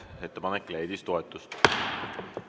Ettepanek leidis toetust.